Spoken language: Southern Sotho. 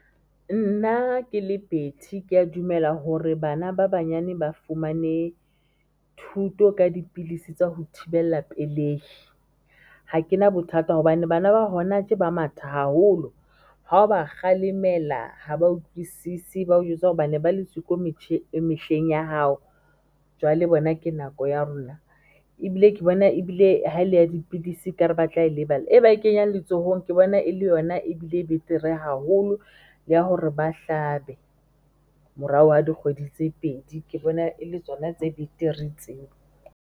Nna ke le Betty keya dumela hore bana ba banyane ba fumane thuto ka dipilisi tsa ho thibela pelehi. Ha ke na bothata hobane bana ba hona tje ba matha haholo, ha o ba kgalemela ha ba utlwisisi bao jwetsa hore bane ba le siko mehleng ya hao. Jwale bona ke nako ya rona ebile ke bona, ebile ha ele ya dipidisi ka re batla e lebala e ba e kenyang letsohong ke bona e le yona ebile e betere haholo ya hore ba hlabe morao ha dikgwedi tse pedi ke bona e le tsona tse betere tseo.